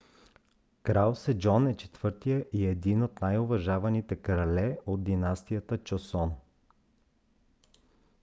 крал седжон е четвъртият и един от най-уважаваните крале от династията чосон